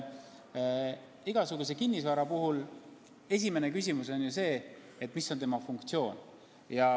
Igasuguse kinnisvara puhul on ju esimene küsimus, mis on selle funktsioon.